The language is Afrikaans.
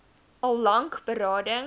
al lank berading